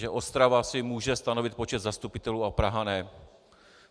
Že Ostrava si může stanovit počet zastupitelů a Praha ne?